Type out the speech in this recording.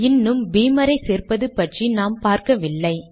இன்னும் பீமரை சேர்ப்பது பற்றி நாம் பார்க்கவில்லை